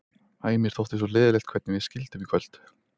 Æ, mér þótti svo leiðinlegt hvernig við skildum í kvöld.